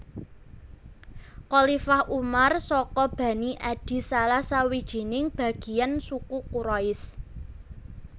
Khalifah Umar saka bani Adi salah sawijining bagiyan suku Quraisy